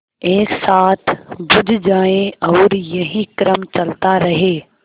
एक साथ बुझ जाएँ और यही क्रम चलता रहे